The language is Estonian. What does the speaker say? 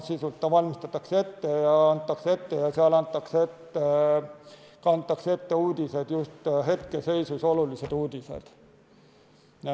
Sisu poolest ta valmistatakse ette ja seal kantakse ette just hetkeseisus olulised uudised.